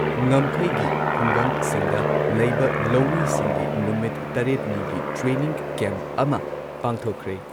ꯉꯝꯈꯩꯒꯤ ꯈꯨꯡꯒꯪꯁꯤꯡꯗ ꯂꯩꯕ ꯂꯧꯃꯤꯁꯤꯡꯒꯤ ꯅꯨꯃꯤꯠ ꯇꯔꯦꯠ ꯅꯤꯒꯤ ꯇ꯭ꯔꯦꯅꯤꯡ ꯀꯦꯝꯞ ꯑꯃ ꯄꯥꯡꯊꯣꯛꯈ꯭ꯔꯦ ꯫